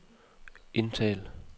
indtal